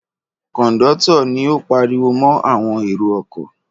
Kọ̀ńdọ́tọ̀ ni ó pariwo mọ́ àwọn èrò-ọkọ̀.